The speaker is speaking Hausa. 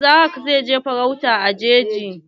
Isah zai je farauta a jeji.